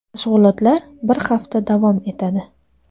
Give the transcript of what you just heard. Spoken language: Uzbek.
Mashg‘ulotlar bir hafta davom etadi.